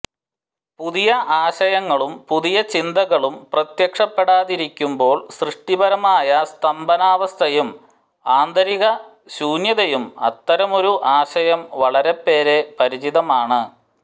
പുതിയ ആശയങ്ങളും പുതിയ ചിന്തകളും പ്രത്യക്ഷപ്പെടാതിരിക്കുമ്പോൾ സൃഷ്ടിപരമായ സ്തംഭനാവസ്ഥയും ആന്തരിക ശൂന്യതയും അത്തരമൊരു ആശയം വളരെപ്പേരെ പരിചിതമാണ്